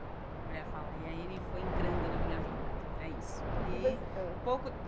A mulher fala, e aí ele foi entrando na minha vida, é isso e e você ãh pouco.